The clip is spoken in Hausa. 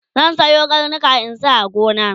zan Sayo karnika in sa a gona